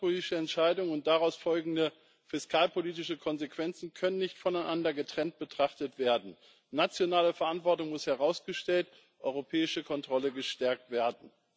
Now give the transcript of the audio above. Wirtschaftspolitische Entscheidungen und daraus folgende fiskalpolitische Konsequenzen können nicht voneinander getrennt betrachtet werden, nationale Verantwortung muss herausgestellt, europäische Kontrolle gestärkt werden.